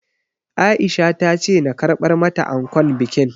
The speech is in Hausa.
Aisha ta ce na karɓar mata ankon bikin